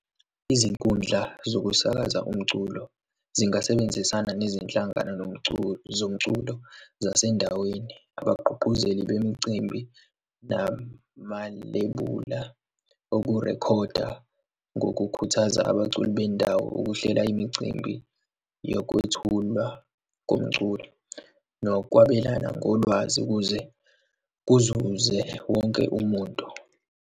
Izinkundla zokusakaza umculo zingasebenzisana nezinhlangano zomculo zasendaweni, abagqugquzeli bemicimbi, namalebula okurekhoda, ngokukhuthaza abaculi bendawo ukuhlela imicimbi yokwethulwa komculo, nokwabelana ngolwazi ukuze kuzuze wonke umuntu.